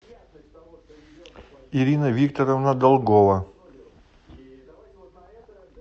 ирина викторовна долгова